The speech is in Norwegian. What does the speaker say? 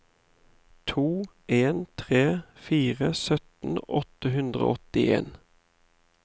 to en tre fire sytten åtte hundre og åttien